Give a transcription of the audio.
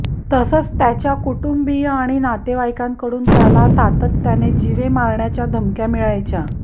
तसंच त्याच्या कुटुंबीय आणि नातेवाईकांकडून त्याला सातत्याने जीवे मारण्याच्या धमक्या मिळायच्या